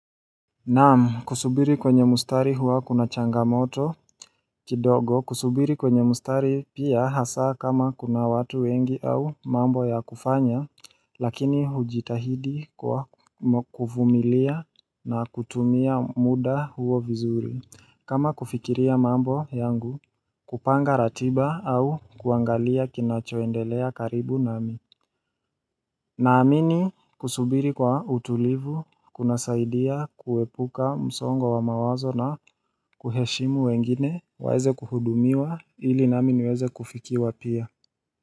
Naam kusubiri kwenye mustari huwa kuna changamoto kidogo kusubiri kwenye mustari pia hasa kama kuna watu wengi au mambo ya kufanya lakini hujitahidi kwa kufumilia na kutumia muda huo vizuri kama kufikiria mambo yangu kupanga ratiba au kuangalia kinachoendelea karibu nami Naamini kusubiri kwa utulivu, kuna saidia kuepuka msongo wa wa mawazo na kuheshimu wengine, waeze kuhudumiwa ili naamini weze kufikiwa pia.